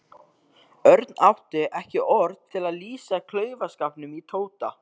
Örn átti ekki orð til að lýsa klaufaskapnum í Tóta.